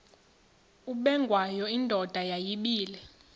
ubengwayo indoda yayibile